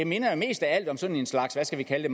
minder jo mest af alt om sådan en slags hvad skal vi kalde